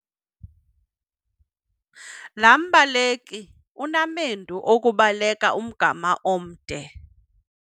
Laa mbaleki inamendu okubaleka umgama omde.